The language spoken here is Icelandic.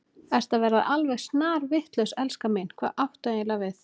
Ertu að verða alveg snarvitlaus, elskan mín, hvað áttu eiginlega við?